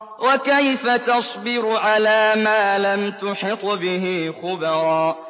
وَكَيْفَ تَصْبِرُ عَلَىٰ مَا لَمْ تُحِطْ بِهِ خُبْرًا